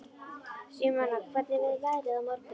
Símona, hvernig er veðrið á morgun?